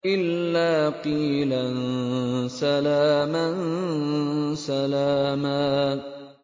إِلَّا قِيلًا سَلَامًا سَلَامًا